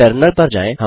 terminal पर जाएँ